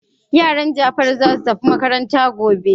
Yaran Jafaru za su tafi makaranta gobe.